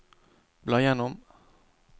bla gjennom